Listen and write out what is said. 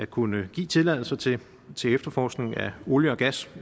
kunne give tilladelser til til efterforskning af olie og gas